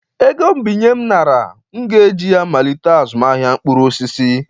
ego mbinye m nara, m ga-eji ya malite azụmahịa mkpụrụ osisi